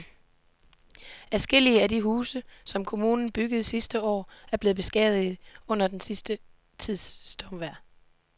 Adskillige af de huse, som kommunen byggede sidste år, er blevet beskadiget under den sidste tids stormvejr.